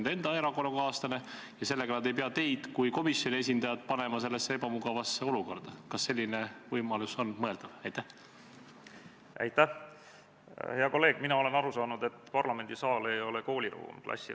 Lähtudes eeltoodust, Riigikogus eelmisel aastal toimunud sama missiooni eelnõu menetlusest ja riigikaitsekomisjoni nõunik-sekretariaadijuhataja soovitusest esitas riigikaitsekomisjon konsensuslikult eelnõu kohta ühe muudatusettepaneku.